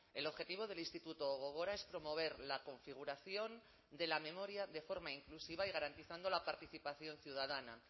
el objetivo del instituto gogora es promover la configuración de la memoria de forma inclusiva y garantizando la participación ciudadana